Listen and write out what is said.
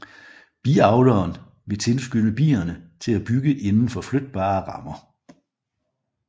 Biavleren vil tilskynde bierne til at bygge indenfor flytbare rammer